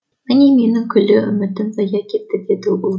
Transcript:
міне менің күллі үмітім зая кетті деді ол